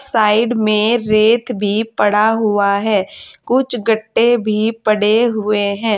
Side में रेत भी पड़ा हुआ है कुछ गट्टे भी पड़े हुए हैं।